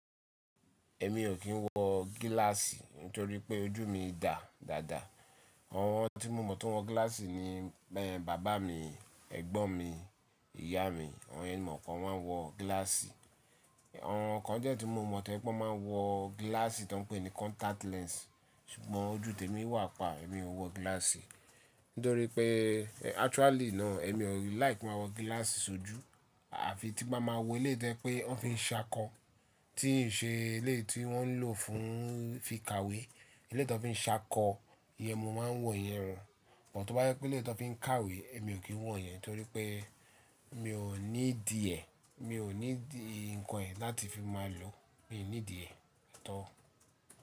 Èmi ò kí ń wọ gíláàsì torí pé ojú mi dà dáadáa. Àwọn tí mo mọ̀ tó ń wọ gíláàsì ni bẹ́ẹ̀ bàbá mi, ẹ̀gbọ́n mi, ìyá mi. Awọ́n yẹn ni mo mò pe won maa n wọ gíláàsì. Awonn kan die tí mo mọ̀ to je wipé wọ́n máa ń wọ gíláàsì tó ń pè ní contact lens. Ṣùgbọ́n ojú tèmi wà pa, èmi ò wọ gíláàsì torí pé actually náà èmi ò like ki n máa wọ gíláàsì sójú. Àfi tí bá máa wọ eléyi to jẹ́ pé wọ́n fi ń ṣákọ, tíì n ṣe eleyii tí wọ́n n lò fún fi kàwé. Eleyi ti wón fi ń ṣákọ, ìyẹn mo máa ń wọ̀ yẹn o. But tó bá jẹ pé éleyi tón fi ń kàwé, èmi ò kí ń wọ̀ ìyẹn torí pé mi ò need ẹ. Mi ò need nǹkan yẹn láti fi máa lò, mi ò need e at all.